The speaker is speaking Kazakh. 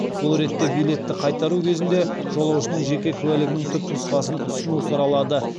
бұл ретте билетті қайтару кезінде жолаушының жеке куәлігінің түпнұсқасын ұсыну сұралады